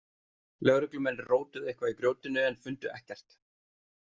Lögreglumenn rótuðu eitthvað í grjótinu en fundu ekkert.